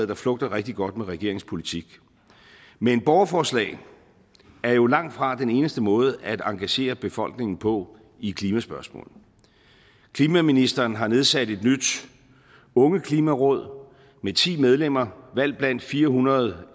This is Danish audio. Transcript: der flugter rigtig godt med regeringens politik men borgerforslag er jo langt fra den eneste måde at engagere befolkningen på i klimaspørgsmålet klimaministeren har nedsat et nyt ungeklimaråd med ti medlemmer valgt blandt fire hundrede